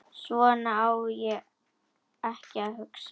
Svona á ekki að hugsa.